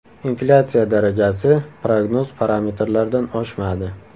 Inflyatsiya darajasi prognoz parametrlardan oshmadi.